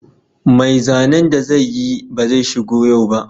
Mai zanen da zai yi ba zai shigo yau ba